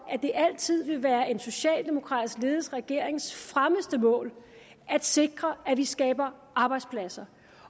at det altid vil være en socialdemokratisk ledet regerings fremmeste mål at sikre at vi skaber arbejdspladser